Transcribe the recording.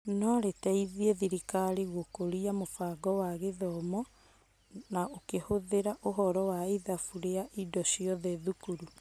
Norĩteithie thirikari gũkũria mũbango wa gĩthomo na kũhũthĩra ũhoro wa ithabu rĩa indo ciothe thukuru ?